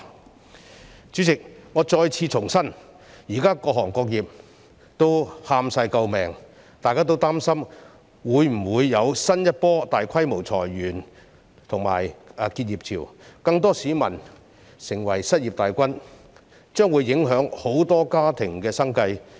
代理主席，我再次重申，現時各行各業皆叫苦連天，大家均擔心會否出現新一波大規模裁員潮和結業潮，令更多市民成為失業大軍，影響很多家庭的生計。